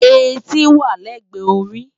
Éti wá lègbè óri